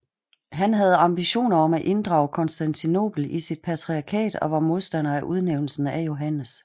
Han havde ambitioner om at inddrage Konstantinopel i sit patriarkat og var modstander af udnævnelsen af Johannes